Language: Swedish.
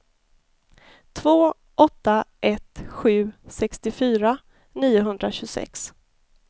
två åtta ett sju sextiofyra niohundratjugosex